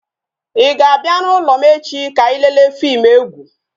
I ga-abia n'ulo m echi ka anyị lele fim egwu?